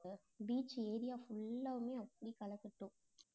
beach area full ஆவுமே அப்படியே களை கட்டும்